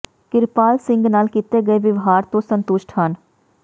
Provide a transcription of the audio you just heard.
ਕਿਰਪਾਲ ਸਿੰਘ ਨਾਲ ਕੀਤੇ ਗਏ ਵਿਵਹਾਰ ਤੋਂ ਸੰਤੁਸ਼ਟ ਹਨ